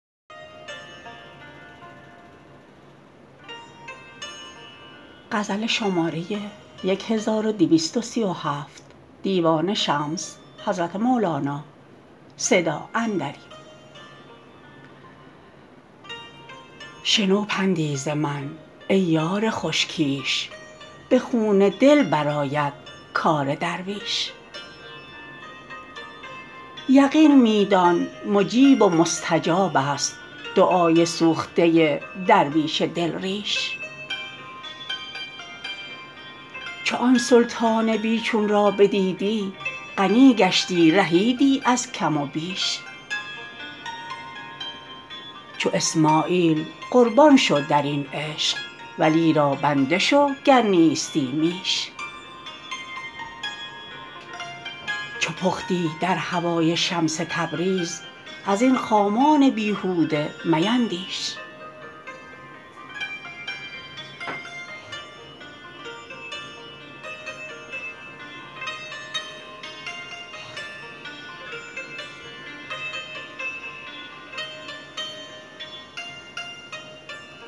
شنو پندی ز من ای یار خوش کیش به خون دل برآید کار درویش یقین می دان مجیب و مستجابست دعای سوخته درویش دل ریش چو آن سلطان بی چون را بدیدی غنی گشتی رهیدی از کم و بیش چو اسماعیل قربان شو در این عشق ولی را بنده شو گر نیستی میش چو پختی در هوای شمس تبریز از این خامان بیهوده میندیش